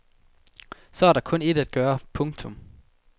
Så er der kun ét at gøre. punktum